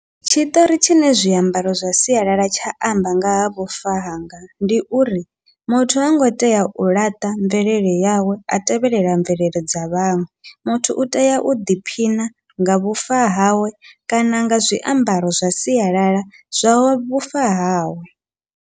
Tshiṱori tshine zwiambaro zwa sialala tsha amba ngaha vhufa hanga, ndi uri muthu hango tea u laṱa mvelele yawe a tevhelela mvelele dza vhaṅwe muthu utea u ḓiphina nga vhufa hawe kana nga zwiambaro zwa sialala zwa vhufa hawe.